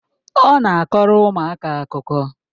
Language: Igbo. Ọ na-akọrọ ụmụaka akụkọ?